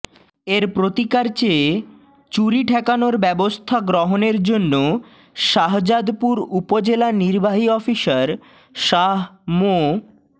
এর প্রতিকার চেয়ে চুরি ঠেকানোর ব্যবস্থা গ্রহণের জন্য শাহজাদপুর উপজেলা নির্বাহী অফিসার শাহ মো